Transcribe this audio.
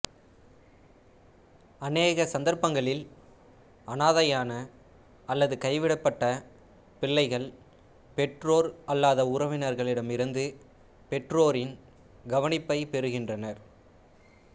அநேக சந்தர்ப்பங்களில் அனாதையான அல்லது கைவிடப்பட்ட பிள்ளைகள் பெற்றோர் அல்லாத உறவினர்களிடமிருந்து பெற்றோரின் கவனிப்பைப் பெறுகின்றனர்